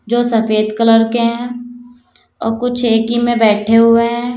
जो सफेद कलर के हैं अ कुछ एक ही में बैठे हुए हैं।